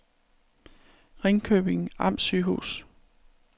Ringkøbing Amtssygehus